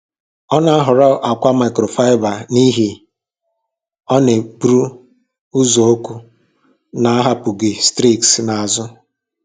Ọ na-ahọrọ akwa microfiber n'ihi na ha na-eburu uzuzu na-ahapụghị streaks n'azụ.